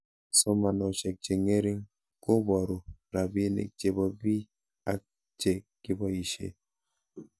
Somanoshek che ng'ering' koparu rabinik chepo pii ak che kipoishe